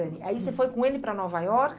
Aí você foi com ele para Nova Iorque?